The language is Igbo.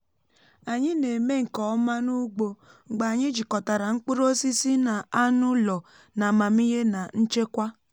anyị na-eme nke ọma n’ugbo mgbe anyị jikọtara mkpụrụ osisi na anụ ụlọ n’amamihe na nchekwa